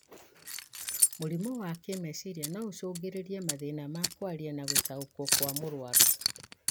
Mũrimũ wa kĩmeciria noũcũngĩrĩrie mathĩna ma kwaria na gũtaũkĩwo kwa mũrwaru